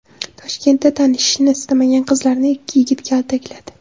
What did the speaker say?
Toshkentda tanishishni istamagan qizlarni ikki yigit kaltakladi.